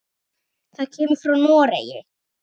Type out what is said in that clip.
Það kemur frá Noregi.